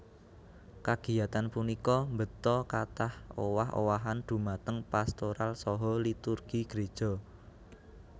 Kagiyatan punika mbeta kathah owah owahan dhumateng pastoral saha liturgi Gréja